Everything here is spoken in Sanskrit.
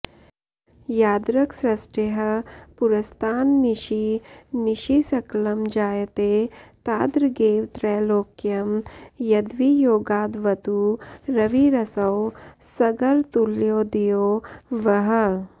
यादृक्सृष्टेः पुरस्तान्निशि निशि सकलं जायते तादृगेव त्रैलोक्यं यद्वियोगादवतु रविरसौ सर्गतुल्योदयो वः